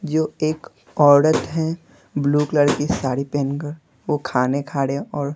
जो एक औरत है ब्लू कलर की साड़ी पहनकर वो खाने खा रहे हैं और--